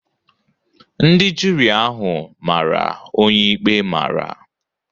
Ndị juri ahụ mara onye ikpe mara.